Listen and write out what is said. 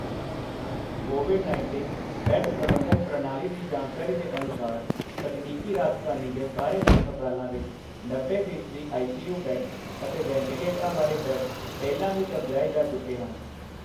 Covid 19 bed ਪ੍ਰਬੰਧਨ ਪ੍ਰਣਾਲੀ ਦੀ ਜਾਣਕਾਰੀ ਦੇ ਅਨੁਸਾਰ, ਤਕਨੀਕੀ ਰਾਜਧਾਨੀ ਦੇ ਸਾਰੇ ਹਸਪਤਾਲਾਂ ਵਿੱਚ ਨੱਬੇ ਫੀਸਦੀ ਆਈਸੀਯੂ ਬੈੱਡ ਅਤੇ ਵੈਂਟੀਲੇਟਰਾਂ ਵਾਲੇ ਬੈੱਡ ਪਹਿਲਾਂ ਹੀ ਕਬਜ਼ਾਏ ਜਾ ਚੁੱਕੇ ਹਨ।